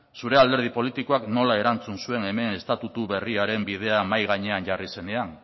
zure alderdi politikoak nola erantzun zuen hemen estatutua berriaren bidea mahai gainean jarri zenean